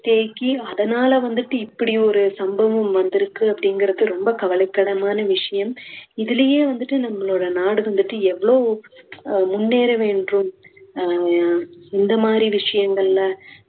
தேக்கி அதனால வந்துட்டு இப்படியொரு சம்பவம் வந்திருக்கு அப்படிங்குறது ரொம்ப கவலைக்கிடமான விஷயம். இதுலேயே வந்துட்டு நம்மளோட நாடு வந்துட்டு எவ்ளோ அஹ் முன்னேற வேண்டும் அஹ் இந்தமாதிரி விஷயங்களில